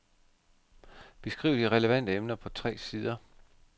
Beskriv de relevante emner på tre sider.